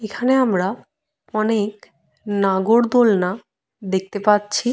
এখানে আমরা অনেক নাগরদোলনা দেখতে পাচ্ছি ।